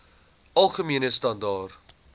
algemene standaar